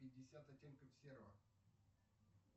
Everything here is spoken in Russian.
пятьдесят оттенков серого